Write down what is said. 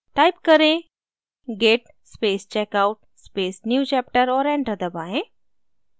type करें: git space checkout space newchapter और enter दबाएँ